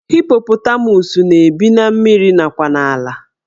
Hippotamus na-ebi na mmiri nakwa n'ala